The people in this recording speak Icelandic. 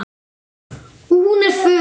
Og hún er föl.